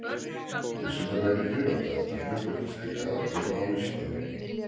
Vísindamennirnir á dagatalinu birtast líka allir á Vísindavefnum.